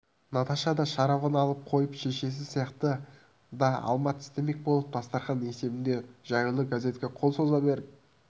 наташа да шарабын алып қойып шешесі сияқты да алма тістемек болып дастарқан есебінде жаюлы газетке қол соза беріп